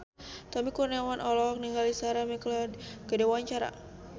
Tommy Kurniawan olohok ningali Sarah McLeod keur diwawancara